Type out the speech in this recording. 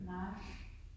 Nej